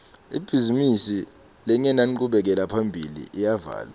ibhizimisi lengenanchubekela phambili iyavalwa